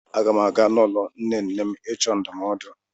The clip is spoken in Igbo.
Aga m aga n'ụlọ nne nne m ịchọ ndụmọdụ.